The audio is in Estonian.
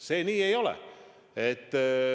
See nii ei ole.